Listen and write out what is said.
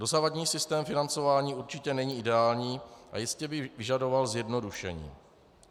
Dosavadní systém financování určitě není ideální a jistě by vyžadoval zjednodušení.